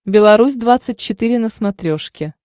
беларусь двадцать четыре на смотрешке